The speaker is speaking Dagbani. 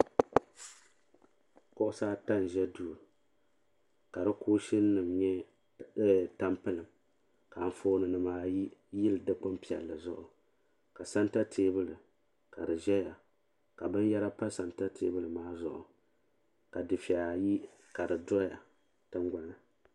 Kuɣusi ata n za duu ka di kuushini nima nyɛ taampilim ka anfooni nima ayi yili dikpini piɛlli zuɣu ka santa teebuli ka di zaya ka binyera pa santa teebuli maa zuɣu ka dufeya ayi ka di doya tingbani.